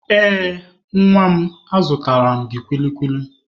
Ee, nwa na azụtara m gị kwili kwili.